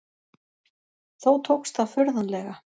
Þó tókst það furðanlega.